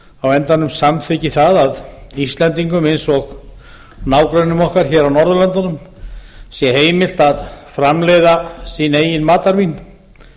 á endanum samþykki að íslendingum eins og nágrönnum okkar hér á norðurlöndunum sé heimilt að framleiða sín eigin matarvín